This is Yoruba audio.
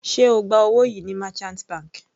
Sé ó gba owó yìí ní merchant bank?